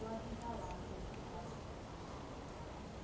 O Avisalá, eu queria que você falasse um pouco do Instituto Avisalá.